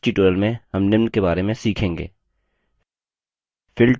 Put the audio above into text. इस tutorial में हम निम्न के बारे में सीखेंगे